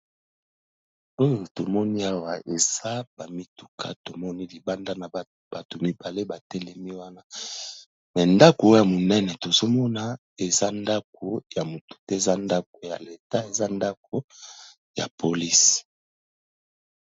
Oyo tomoni awa eza ba mituka tomoni libanda na bato mibale ba telemi wana, me ndako oyo ya monene tozo mona eza ndako ya motu te eza ndako ya l'etat eza ndako ya police.